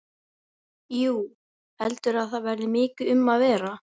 Jú, heldurðu að það verði mikið um að vera?